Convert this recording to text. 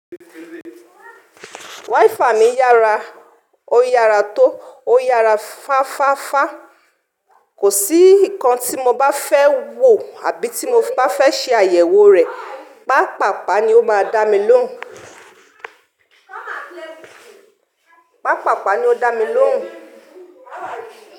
Wifi mi yara, ó yara tó, ó yara fáfáfá. Kò sí nǹkan tí mo bá fẹ́ wò àbí tí mo bá fẹ́ ṣe àyẹ̀wò rẹ̀, pàpàpá ni ó máa dá mi lóhùn. Pàpàpá ni ó dá mi lóhùn.